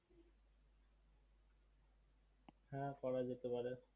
হ্যাঁ করা যেতে পারে